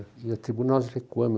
E a tribuna nós recuamo.